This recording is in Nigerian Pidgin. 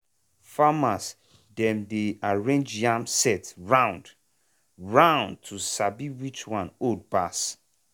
farmer dem dey arrange yam sett round-round to sabi which one old pass.